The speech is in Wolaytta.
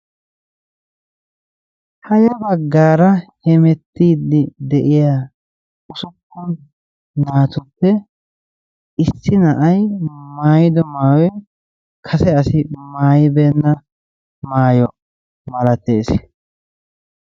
Ha yabbaggaara hemettiidi de'iya usuppun naatuppe issi na'iya maayiddo maayoy kase asi maayibenna maayo malates.